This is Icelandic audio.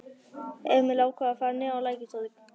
Emil ákvað að fara niðrá Lækjartorg.